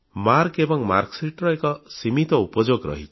Marcus ଏବଂ mark Sheetର ଏକ ସୀମିତ ଉପଯୋଗ ରହିଛି